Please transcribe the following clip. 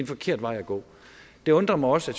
forkert vej at gå det undrer mig også